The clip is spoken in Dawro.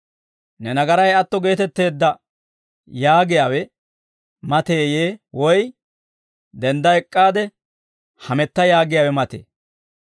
‹Ne nagaray atto geetetteedda› yaagiyaawe mateeyee? Woy, ‹Dendda ek'k'aade hametta› yaagiyaawe matee?